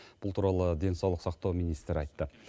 бұл туралы денсаулық сақтау министрі айтты